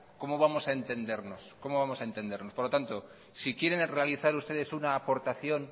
cómo vamos a entendernos por lo tanto si quieren realizar ustedes una aportación